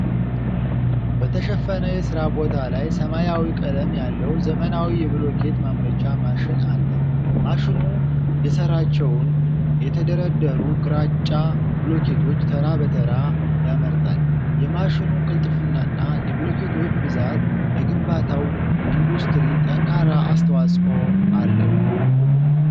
በተሸፈነ የሥራ ቦታ ላይ ሰማያዊ ቀለም ያለው ዘመናዊ የብሎኬት ማምረቻ ማሽን አለ። ማሽኑ የሠራቸውን የተደረደሩ ግራጫ ብሎኬቶች ተራ በተራ ያመርታል። የማሽኑ ቅልጥፍናና የብሎኬቶቹ ብዛት ለግንባታው ኢንዱስትሪ ጠንካራ አስተዋፅዖን አለው።